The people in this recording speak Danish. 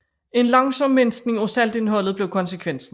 En langsom mindskning af saltindholdet blev konsekvensen